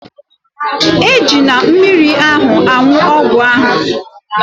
Ejila mmiri ahụ aṅụ ọgwụ ahụ